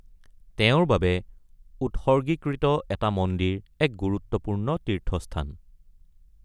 তেওঁৰ বাবে উৎসৰ্গীকৃত এটা মন্দিৰ এক গুৰুত্বপূৰ্ণ তীৰ্থস্থান।